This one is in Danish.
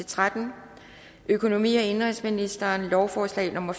tretten økonomi og indenrigsministeren lovforslag nummer